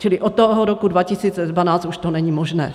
Čili od toho roku 2012 už to není možné. .